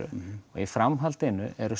og í framhaldinu eru